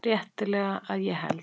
Réttilega að ég held.